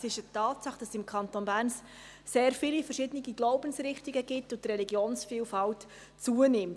Es ist eine Tatsache, dass es im Kanton Bern sehr viele verschiedene Glaubensrichtungen gibt und die Religionsvielfalt zunimmt.